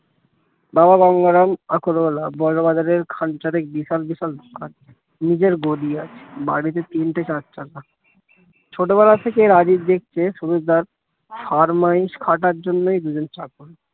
বাবা গঙ্গারাম বড়বাজারের খাঞ্চারে বিশাল বিশাল দোকান নিজের গদি আছে বাড়িতে তিনটে চারচাকা ছোটবেলা থেকে রাজীব দেখতে সুমিত দার ফরমাইস খাটার জন্যই দুজন চাকর